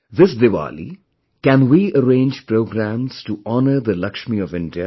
This Diwali, can we arrange programmes to honor the Laxmi of India